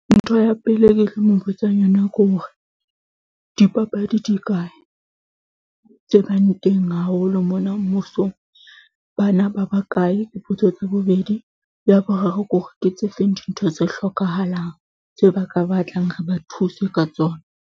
Ntho ya pele e ke tlo mo botsang yona ke hore, dipapadi di kae, tse bang teng haholo mona mmusong. Bana ba ba kae dipotso tsa bobedi, ya boraro ke hore ke tse feng dintho tse hlokahalang tse ba ka batlang, re ba thuse ka tsona.